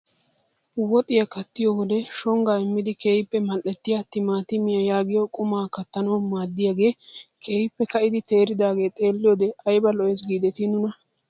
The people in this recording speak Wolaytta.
Woxiyaa kattiyoo wode shongaa immidi keehippe madhettiyaa timaatimiyaa yaagiyoo qumaa kattanawu maaddiyaagee keehippe ka'idi teeridagee xeelliyoode ayba lo"ees gidetii nuna!